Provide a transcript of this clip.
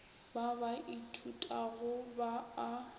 ba ba ithutago ba a